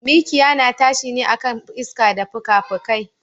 Mikiya na tashi ne akan iska da fukafukai.